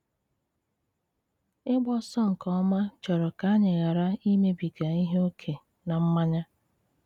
Ịgba ọsọ nke ọma chọrọ ka anyị ghara imebiga ihe ókè na mmanya.